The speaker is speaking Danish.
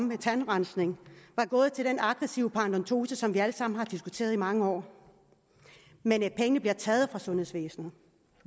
med tandrensning var gået til den aggressive paradentose som vi alle sammen har diskuteret i mange år men pengene bliver taget fra sundhedsvæsenet